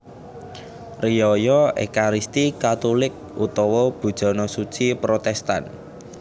Riyaya Ékaristi Katulik utawa Bujana Suci Protèstan